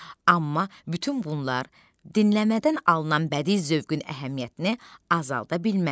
Amma bütün bunlar dinləmədən alınan bədii zövqün əhəmiyyətini azalda bilməz.